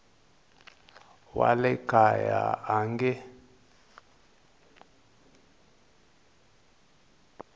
wa le kaya a nge